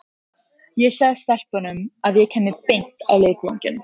Ég sagði stelpunum að ég kæmi beint á leikvanginn.